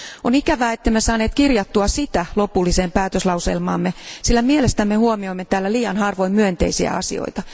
On ikävää ettemme saaneet kirjattua sitä lopulliseen päätöslauselmaamme, sillä mielestämme huomioimme täällä liian harvoin myönteisiä asioita.